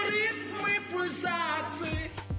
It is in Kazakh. ритмы пульсаций